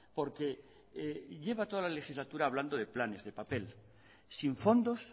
porque lleva toda la legislatura hablando de planes de papel sin fondos